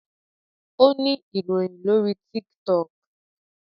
o ni iroyin lori tiktok